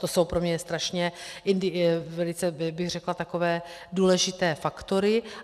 To jsou pro mě strašně, velice bych řekla takové důležité faktory.